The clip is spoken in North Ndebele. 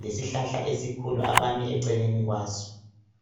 lesihlahla esikhulu abame eceleni kwaso.